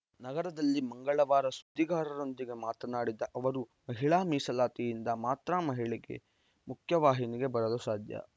ನಗರದಲ್ಲಿ ಮಂಗಳವಾರ ಸುದ್ದಿಗಾರರೊಂದಿಗೆ ಮಾತನಾಡಿದ ಅವರು ಮಹಿಳಾ ಮೀಸಲಾತಿಯಿಂದ ಮಾತ್ರ ಮಹಿಳೆಗೆ ಮುಖ್ಯ ವಾಹಿನಿಗೆ ಬರಲು ಸಾಧ್ಯ